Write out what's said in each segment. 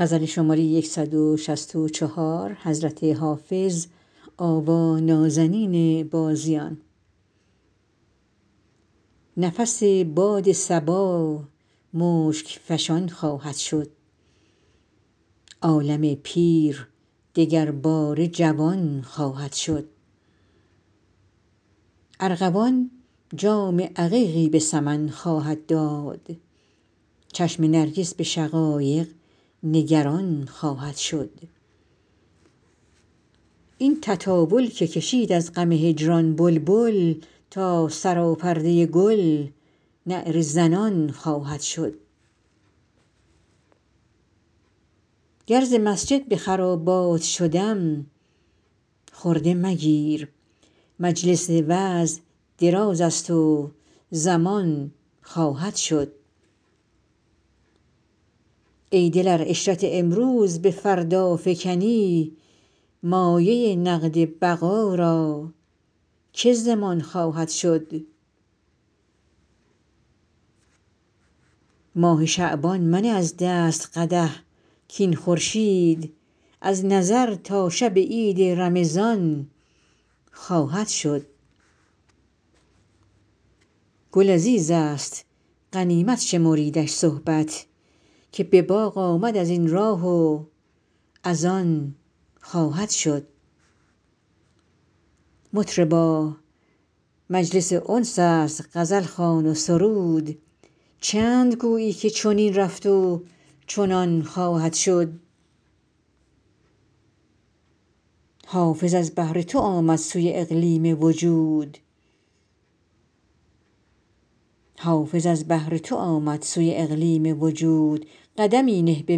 نفس باد صبا مشک فشان خواهد شد عالم پیر دگرباره جوان خواهد شد ارغوان جام عقیقی به سمن خواهد داد چشم نرگس به شقایق نگران خواهد شد این تطاول که کشید از غم هجران بلبل تا سراپرده گل نعره زنان خواهد شد گر ز مسجد به خرابات شدم خرده مگیر مجلس وعظ دراز است و زمان خواهد شد ای دل ار عشرت امروز به فردا فکنی مایه نقد بقا را که ضمان خواهد شد ماه شعبان منه از دست قدح کاین خورشید از نظر تا شب عید رمضان خواهد شد گل عزیز است غنیمت شمریدش صحبت که به باغ آمد از این راه و از آن خواهد شد مطربا مجلس انس است غزل خوان و سرود چند گویی که چنین رفت و چنان خواهد شد حافظ از بهر تو آمد سوی اقلیم وجود قدمی نه به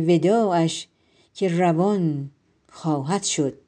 وداعش که روان خواهد شد